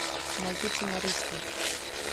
найти цена риска